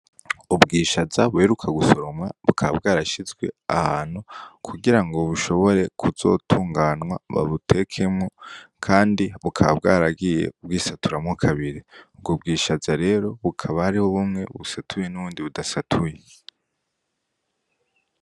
Ubwishaza buheruka gusoromwa, bukaba bwarashizwe ahantu kugira ngo bushobore kuzotunganwa babutekemwo, kandi bukaba bwaragiye burisaturamwo kabiri. Ubwo bwishaza rero, hakaba harimwo bumwe busatuye n'ubundi budasatuye.